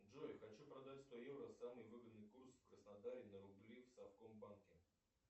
джой хочу продать сто евро самый выгодный курс в краснодаре на рубли в совкомбанке